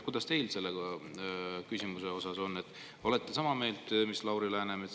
Kas teie olete selles küsimuses sama meelt mis Lauri Läänemets?